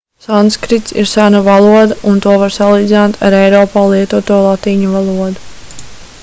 sanskrits ir sena valoda un to var salīdzināt ar eiropā lietoto latīņu valodu